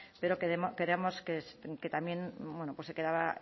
pero creemos que también se quedaba